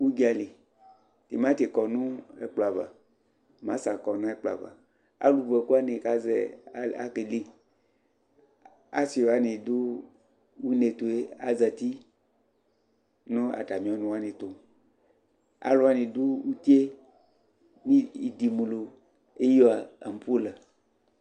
ʋdzali, tʋmanti kɔnʋ ɛkplɔ aɣa masa kɔnʋ ɛkplɔ aɣa, alʋ vʋ ɛkʋ wani azɛ ɛkɛdɛ, asii wani dʋ ʋnɛ tʋɛ azati nʋ atami ɔnʋ wani tʋ, alʋwani dʋ ʋtiɛ nʋ idimʋlʋ ɛwia ampɔla